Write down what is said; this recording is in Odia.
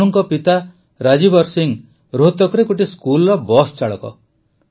ତନୁଙ୍କ ପିତା ରାଜବୀର ସିଂହ ରୋହତକରେ ଗୋଟିଏ ସ୍କୁଲର ବସ ଚାଳକ